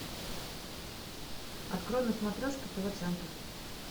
открой на смотрешке тв центр